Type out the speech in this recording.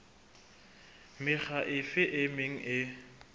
mekga efe e meng e